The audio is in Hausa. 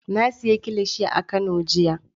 Na sayi kilishi a kano jiya.